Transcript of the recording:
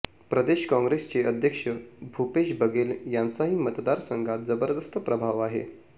प्रदेश काँग्रेसचे अध्यक्ष भुपेश बघेल यांचाही मतदारसंघात जबरदस्त प्रभाव आहे